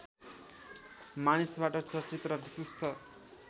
मानिसबाट चर्चित र विशिष्ट